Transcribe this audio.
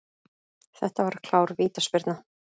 Þetta var klár vítaspyrna.